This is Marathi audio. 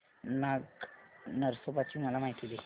नाग नरसोबा ची मला माहिती दे